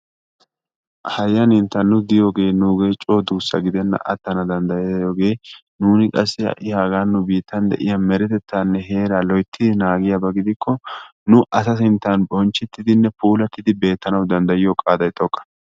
Hayanitta nu diyogee nuuge coo duussa giddenna atana danddayiyogee nuuni qassi ha'i hagaan nu biittan de'ya meretettanne loyttidi naagikko nu asa sinttaan bonchchettidi puulatidinne betanawu qaaday xooqa.